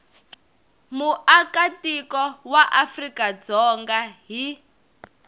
muakatiko wa afrika dzonga hi